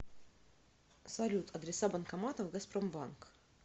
салют адреса банкоматов газпромбанк